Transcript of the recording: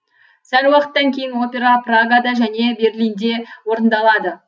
сәл уақыттан кейін опера прагада және берлинде орындалады